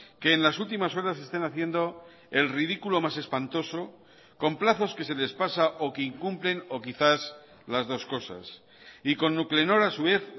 que en las últimas horas estén haciendo el ridículo más espantoso con plazos que se les pasa o que incumplen o quizás las dos cosas y con nuclenor a su vez